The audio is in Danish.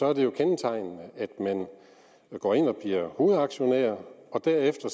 er det jo kendetegnende at man går ind og bliver hovedaktionær og derefter